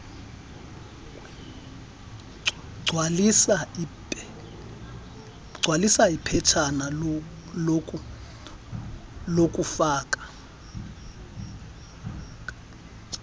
gcwalisa iphetshana lokufaka